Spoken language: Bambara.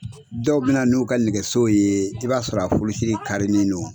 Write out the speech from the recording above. Dɔw be na n'u ka nɛgɛso ye i b'a sɔrɔ a furusi de karinen don